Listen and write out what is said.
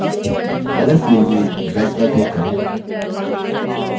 color field में red पर click करें